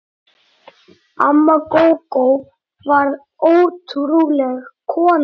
Amma Gógó var ótrúleg kona.